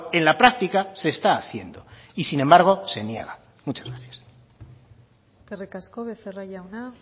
en la práctica se está haciendo y sin embargo se niega muchas gracias eskerrik asko becerra jauna